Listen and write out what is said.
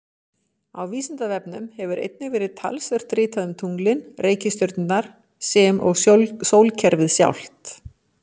Á Vísindavefnum hefur einnig verið talsvert ritað um tunglin, reikistjörnurnar sem og sólkerfið sjálft.